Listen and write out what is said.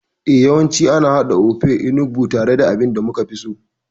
Eh, yawancin ana haɗa Ofe Onugbu tare da abin da muka fi si.